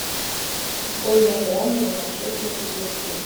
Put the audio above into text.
футбольная игра между манчестер и ливерпуль